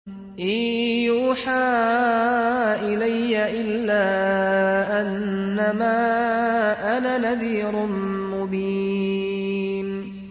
إِن يُوحَىٰ إِلَيَّ إِلَّا أَنَّمَا أَنَا نَذِيرٌ مُّبِينٌ